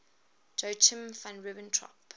joachim von ribbentrop